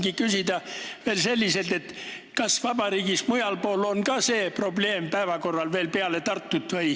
Ma tahtsingi veel küsida, kas see probleem on ka mujal päevakorral peale Tartu.